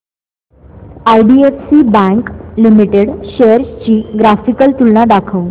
IDFC bank limited shares ची graphical तुलना दाखव